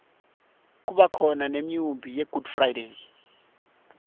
kubakhona nemiunbi yegood friday